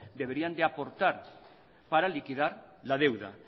deberían de aportar para liquidar la deuda